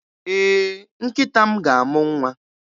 Ee, nkịta m ga-amụ nwa